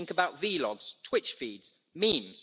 Think about vlogs, twitch feeds, memes.